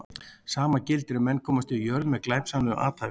Sama gildir ef menn komast yfir jörð með glæpsamlegu athæfi.